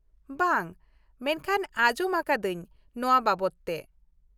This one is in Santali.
ᱵᱟᱝ ᱢᱮᱱᱠᱷᱟᱱ ᱟᱸᱡᱚᱢ ᱟ.ᱠᱟ.ᱫᱟ.ᱧ ᱱᱚᱶᱟ ᱵᱟᱵᱚᱫ ᱛᱮ ᱾